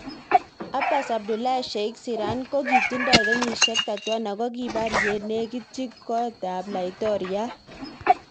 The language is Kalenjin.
Abas Abdullahi Sheikh Sirank kokitindoi kenyishek 31 akokikipar yenekitchi kot ap. Laitoriat.